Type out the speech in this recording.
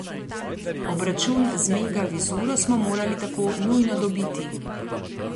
Obračun z Mega Vizuro smo morali tako nujno dobiti.